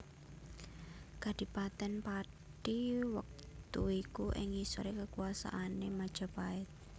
Kadhipaten Pathi wektu iku ing ngisore kekuasaane Majapahit